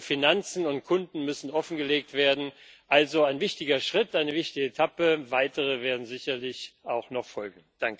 Finanzen und Kunden müssen offengelegt werden, also ein wichtiger Schritt und eine wichtige Etappe, weitere werden sicherlich auch noch folgen.